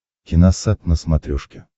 киносат на смотрешке